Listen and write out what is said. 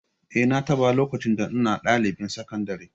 Eh, na taɓa, lokacin da ina ɗalibin sakandare